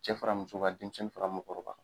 Cɛ faramuso kan denmisɛnnin fara mɔgɔkɔrɔba kan.